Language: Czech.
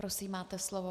Prosím, máte slovo.